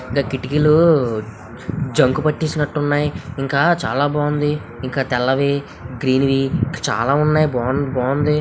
. కిటికీలో జంక్ పెట్టినట్టున్నాయి. ఇంకా చాలా బావుంది. ఇంకా తెల్లవి గ్రీన్వి చాలా ఉన్నాయి బావుంది.